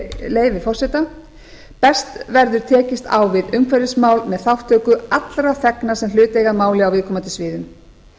leyfi forseta best verður tekist á um umhverfismál með þátttöku allra þegna sem hlut eiga á viðkomandi sviðum